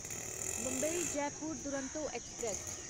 Mumbai Jaipur Duronto express